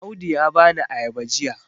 Audu ya bani ayaba jiya